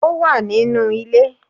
Ó wà nínú ilé